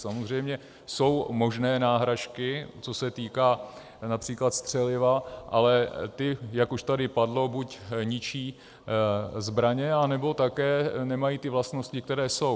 Samozřejmě jsou možné náhražky, co se týče například střeliva, ale ty, jak už tady padlo, buď ničí zbraně, nebo také nemají ty vlastnosti, které jsou.